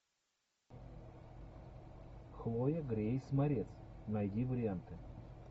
хлоя грейс морец найди варианты